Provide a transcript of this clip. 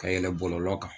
Ka yɛl bɔlɔlɔ kan